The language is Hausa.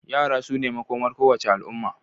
Yara su ne makomar kowace al'umma.